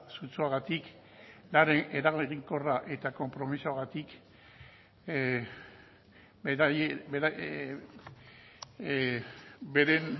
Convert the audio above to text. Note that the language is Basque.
sutsuagatik eraginkorra eta konpromisoagatik beren